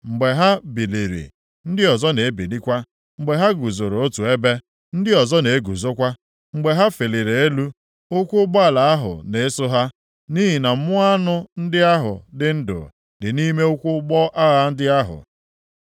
Mgbe ha biliri, ndị ọzọ na-ebilikwa. Mgbe ha guzoro otu ebe, ndị ọzọ na-eguzokwa. Mgbe ha feliri elu, ụkwụ ụgbọala ahụ na-eso ha. Nʼihi na mmụọ anụ ndị ahụ dị ndụ dị nʼime ụkwụ ụgbọ agha ndị ahụ.